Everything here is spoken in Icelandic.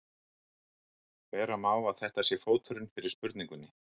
vera má að þetta sé fóturinn fyrir spurningunni